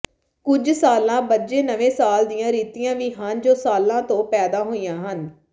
ਕੁਝ ਸਾਲਾਂ ਬੱਝੇ ਨਵੇਂ ਸਾਲ ਦੀਆਂ ਰੀਤੀਆਂ ਵੀ ਹਨ ਜੋ ਸਾਲਾਂ ਤੋਂ ਪੈਦਾ ਹੋਈਆਂ ਹਨ